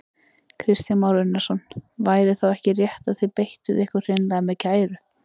Kristján Már Unnarsson: Væri þá ekki rétt að þið beittuð ykkur hreinlega með kæru?